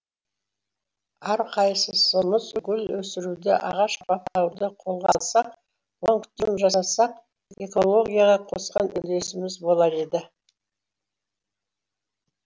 әрқайсысымыз гүл өсіруді ағаш баптауды қолға алсақ оған күтім жасасақ экологияға қосқан үлесіміз болар еді